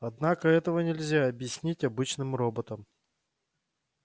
однако этого нельзя объяснить обычным роботам